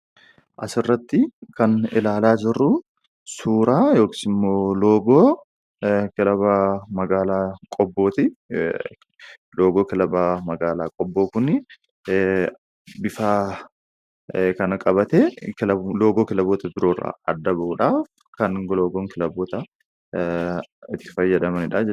Asirratti kan ilaalaa jirru suuraa yookiis immoo loogoo kilaba magaalaa Qobbooti. Loogoon kilaba magaalaa Qobboo kuni bifa kana qabatee loogoo kilaboota biroo irraa adda bahuudhaaf kan itti fayyadamanidha jechuudha.